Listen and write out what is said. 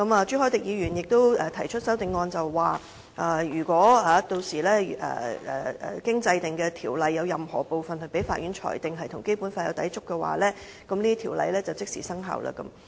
朱凱廸議員亦提出了修正案，指明若條例的任何部分被法院裁定與《基本法》有所抵觸，條例即停止生效。